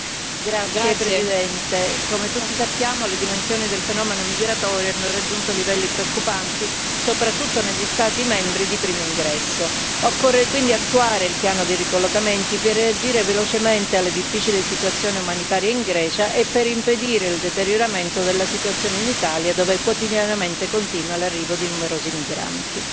Signor Presidente, onorevoli colleghi, come tutti sappiamo, le dimensioni del fenomeno migratorio hanno raggiunto livelli preoccupanti, soprattutto negli Stati membri di primo ingresso. Occorre quindi attuare il piano di ricollocamenti per reagire velocemente alla difficile situazione umanitaria in Grecia e per impedire il deterioramento della situazione in Italia, dove quotidianamente continua l'arrivo di numerosi migranti.